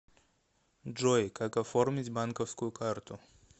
джой как оформить банковскую карту